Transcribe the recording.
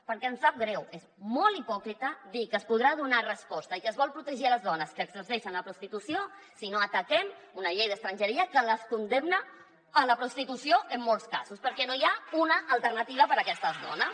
perquè em sap greu és molt hipòcrita dir que s’hi podrà donar resposta i que es vol protegir les dones que exerceixen la prostitució si no ataquem una llei d’estrangeria que les condemna a la prostitució en molts casos perquè no hi ha una alternativa per a aquestes dones